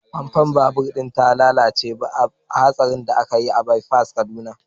fankon babur din ta lalace bayan hatsarin da ya faru a bypass a kaduna.